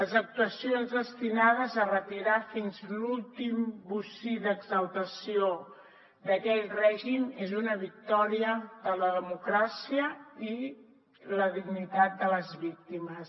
les actuacions destinades a retirar fins l’últim bocí d’exaltació d’aquell règim és una victòria de la democràcia i la dignitat de les víctimes